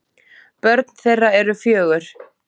Börn þeirra eru fjögur.